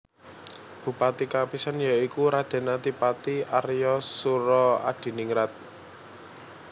Bupati kapisan ya iku Raden Adipati Arya Soeroadiningrat